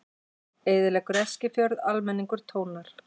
Eyðileggur Eskifjörð, almenningur tónar